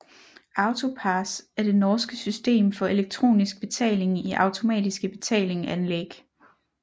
AutoPASS er det norske system for elektronisk betaling i automatiske betalinganlæg